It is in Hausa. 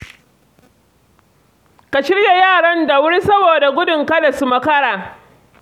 Ka shirya yaran da wurin saboda gudun kada su makara.